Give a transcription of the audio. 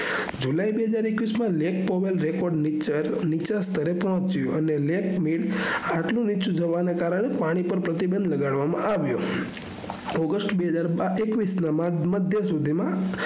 july બેહજાર એકવીસ માં નેત્પોએત record ની ઊંચ સ્તરે પહોચ્યું અને નેત્મિલ આટલું નીચું જવાના કારને પાણી પર પ્રતિબંઘ લગાવામાં આવ્યું august બેહજાર એકવીસ ના મઘ્ય સુઘીમાં